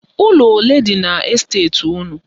Ụlọ ole dị n' esteti unu?